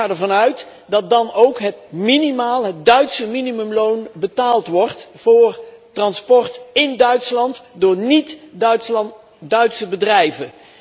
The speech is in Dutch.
Ik ga ervan uit dat dan ook het Duitse minimumloon betaald wordt voor transport in Duitsland door niet Duitse bedrijven.